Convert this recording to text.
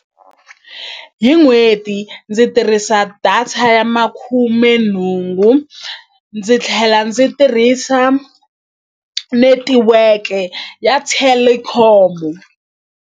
Hi n'hweti ndzi tirhisa data ya makhumenhungu ndzi tlhela ndzi tirhisa netiweke ya Telkom.